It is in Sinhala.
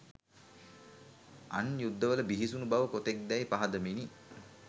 අන් යුද්ධවල බිහිසුණු බව කොතෙක්දැයි පහදමිනි.